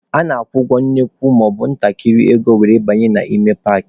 A na-akwụ nnukwu maọbụ ntakịrị ego were banye n'ime paakị.